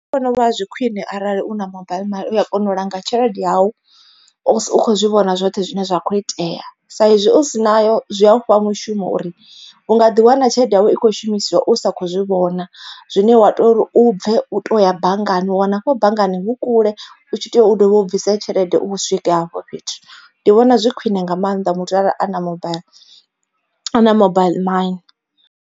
Nṋe ndi vhona zwi khwine arali u na mobile money uya kona u langa tshelede yawu u kho zwi vhona zwoṱhe zwine zwa kho itea. Sa izwi u si nayo zwi a u fha mushumo uri u nga ḓi wana tshelede yau i kho shumisiwa u sa kho zwi vhona. Zwine wa tori u bve u to ya banngani u wana afho banngani hu kule u tshi tea u dovhe u bvise tshelede u swike hafho fhethu ndi vhona zwi khwine nga maanḓa muthu arali a na mobile ana mobile money.